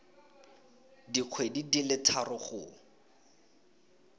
dikgwedi di le tharo go